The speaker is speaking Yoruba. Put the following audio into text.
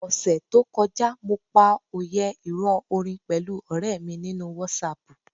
Ọ̀sẹẹ̀ẹ́ to kọjá, mo pa òyẹ́ ìrọ̀ orin pẹ̀lú ọ̀rẹ̀ mi nínú WhatsApp.